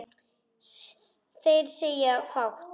Þeir segja fátt